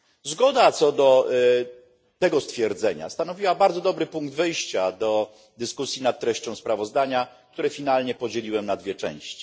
Zgoda co do tego stwierdzenia stanowiła bardzo dobry punkt wyjścia do dyskusji nad treścią sprawozdania, które finalnie podzieliłem na dwie części.